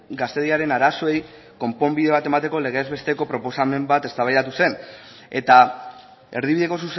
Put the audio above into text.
gaztediaren arazoei konponbide bat emateko legez besteko proposamen bat eztabaida zen eta erdibideko